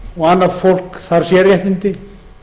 og annað fólk þarf sérréttindi